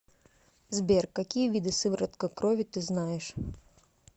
сбер какие виды сыворотка крови ты знаешь